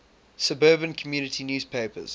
suburban community newspapers